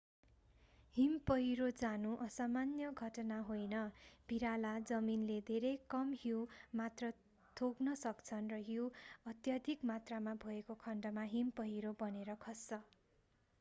हिम पहिरो जानु असामान्य घटना होइन भिराला जमिनले धेरै कम हिउँ मात्र थेग्न सक्छन् र हिउँ अत्यधिक मात्रामा भएको खण्डमा हिम पहिरो बनेर खस्छ